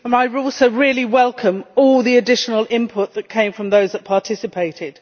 I really welcome all the additional input that came from those that participated.